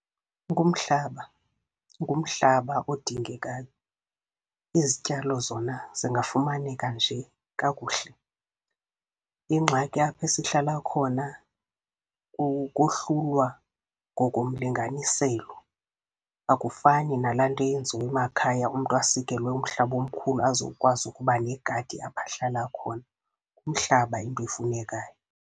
Ngumhlaba, ngumhlaba odingekayo. Izityalo zona zingafumaneka nje kakuhle. Ingxaki aphe sihlala khona ukohlulwa ngokomlinganiselo, akufani nalaa nto yenziwa emakhaya umntu asikelwe umhlaba omkhulu azokwazi ukuba negadi apho ahlala khona. Umhlaba yinto efunekayo.